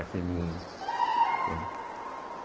Efe eme u, né